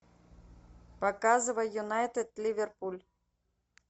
показывай юнайтед ливерпуль